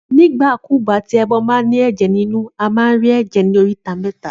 Nígbà kúgbà tí ẹbọ ba ní èjè nínú, a ma rí èjè ní oríta méta